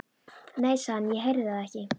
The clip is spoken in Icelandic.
Nei, sagði hann, ég heyrði það ekki.